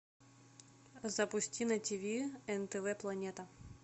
запусти на ти ви нтв планета